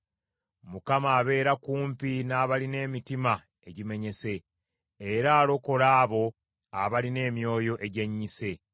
Mukama abeera kumpi n’abalina emitima egimenyese, era alokola abo abalina emyoyo egyennyise.